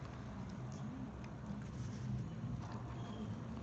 валентина николаевна каплиева